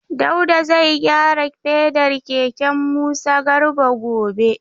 Dauda zai gyara fedar keken Musa Garba gobe.